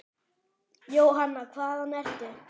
Jóhanna: Hvaðan ertu?